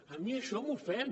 a mi això m’ofèn